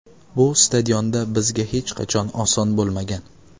Bu stadionda bizga hech qachon oson bo‘lmagan.